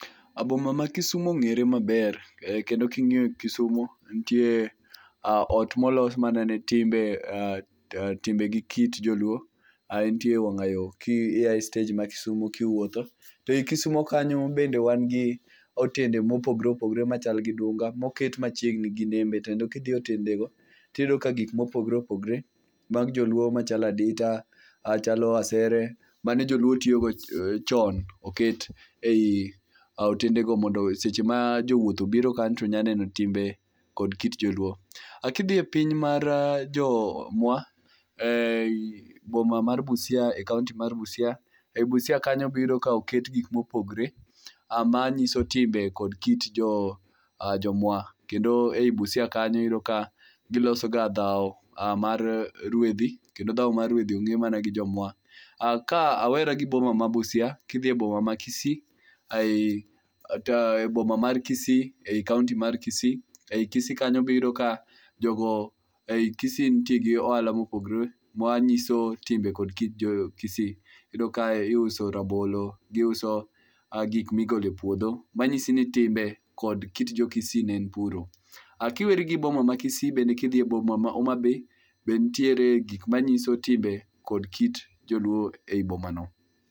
Boma ma Kisumu ong'ere maber kendo ka ing'iyo Kisumo nitie ot molos manene timbe timbe gikit joluo ae nitie wang'ayo ka ia e stej ma Kisumo ka iwuotho to Kisumo kanyo bende wan gi otende mopogore opogore machal gi dunga moket machiegni ginembe kendo ka idhi e otendego to iyudo ka gik mopogore opogore mag joluo machalo adita machalo asere mane joluo tiyogo chon oket ei otendego mondo seche ma jowuoth obiro kanyo to nyalo neno timbe kod kit joluo. Ka idhie piny mar jomwa e boma mar Busia e kaonti mar Busia, e Busia kanyo oketgi mopogore manyiso timbe kod kit jomwa kendo ei Busia kanyo iyudo ka gilosoga dhaw mar ruedhi kendo dhaw mar rwedhi ong'e mana gi jomwa, Ka awera gi boma ma Busia kidhi e boma ma Kisii kae to boma mar Kisii ei kanonti mar Kisi. Ei Kisi nitie gi ohala mopogore manyiso timbe kod kit jo Kisi. Iyudo ka e iusoerabolo, giuso gik migolo e puodho manyiso ni timbe kod kit jo Kisii ne en puro. K a iweri gi boma ma Kisii ka idhi e boma ma Homa Bay, be nitiere gik masnyiso timbe kod kit joluo ei bomano